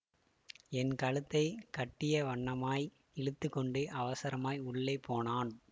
என் கழுத்தை கட்டியவண்ணமாய் இழுத்து கொண்டு அவசரமாய் உள்ளே போனான்